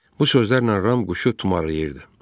Bu sözlərlə Ram quşu tumarlayırdı.